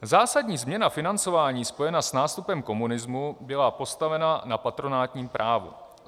Zásadní změna financování spojená s nástupem komunismu byla postavena na patronátním právu.